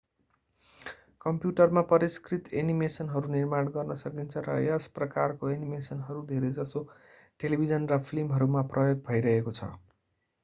कम्प्युटरमा परिष्कृत एनिमेसनहरू निर्माण गर्न सकिन्छ र यस प्रकारको एनिमेसनहरू धेरै जसो टेलिभिजन र फिल्महरूमा प्रयोग भइरहेको छ